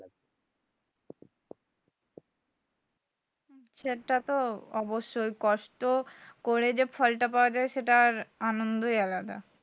সেটা তো অবশই কষ্ট করে যে ফলটা পাওয়া যায় সেটার আনন্দই আলাদা।